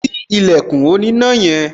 Ṣí ilẹ̀kùn oníná yẹn